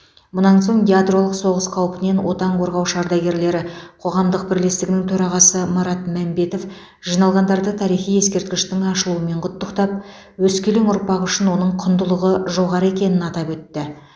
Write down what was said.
мұнан соң ядролық соғыс қаупінен отан қорғаушы ардагерлері қоғамдық бірлестігінің төрағасы марат мәмбетов жиналғандарды тарихи ескерткіштің ашылуымен құттықтап өскелең ұрпақ үшін оның құндылығы жоғары екенін атап өтті